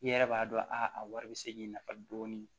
I yɛrɛ b'a dɔn a wari bɛ se k'i nafa dɔɔni